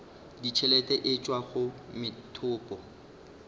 ditšhelete e tšwa go methopo